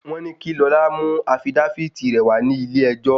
Wọ́n ní kí Lọlá mú afidáfítì rẹ̀ wá ní ilé ẹjọ́.